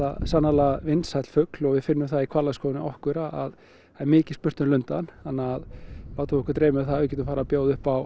sannarlega vinsæll fugl og við finnum það í hvalaskoðun hjá okkur að það er mikið spurt um lundann þá látum við okkur dreyma um að geta boðið upp á